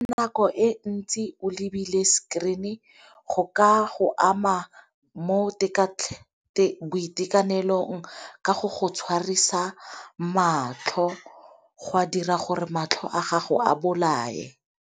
Nako e ntsi o lebile screen-e go ka go ama mo boitekanelong ka go go tshwarisa matlho go a dira gore matlho a gago a bolae.